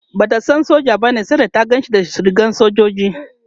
Bata san soja bane sai da ta Ganshi da rigar sojoji